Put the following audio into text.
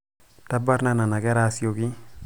tabrna nenakera asioki